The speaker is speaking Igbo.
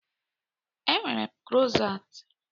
Enwere m krosant.